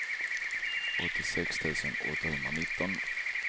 åttiosex tusen åttahundranitton